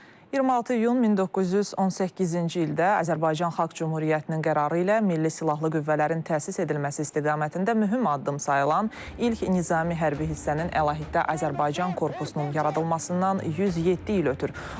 26 iyun 1918-ci ildə Azərbaycan Xalq Cümhuriyyətinin qərarı ilə Milli Silahlı Qüvvələrin təsis edilməsi istiqamətində mühüm addım sayılan ilk nizamlı hərbi hissənin əlahiddə Azərbaycan korpusunun yaradılmasından 107 il ötür.